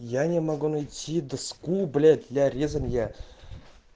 я не могу найти доску блять для резания